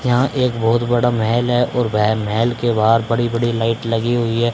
यहां एक बहुत बड़ा महल है और वह महल के बाहर बड़ी बड़ी लाइट लगी हुई है।